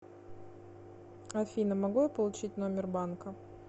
афина могу я получить номер банка